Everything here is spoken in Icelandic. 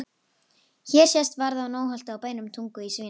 Hér sést varða á Nónholti á bænum Tungu í Svínadal.